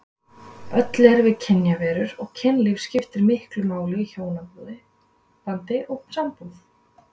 Öll erum við kynverur og kynlíf skiptir miklu máli í hjónabandi og sambúð.